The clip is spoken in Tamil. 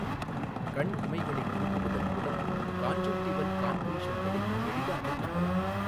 கண் இமைகளைத் திருப்புவதன் மூலம் கான்ஜுன்டிவல் கான்க்ரீஷன்களை எளிதாகக் காணலாம்.